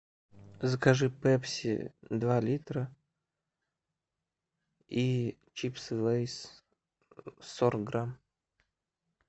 закажи пепси два литра и чипсы лейс сорок грамм